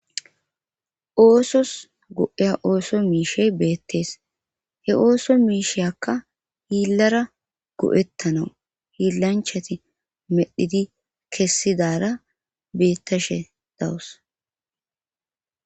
Oosos go7eya ooso miishey beettees he ooso miisheyakka hiillara go7ettana hiillanchati medhidi kessidara beettashe dawus.